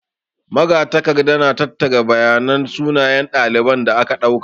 Magatakarda na tattara bayanan sunayen ɗaliban da aka ɗauka.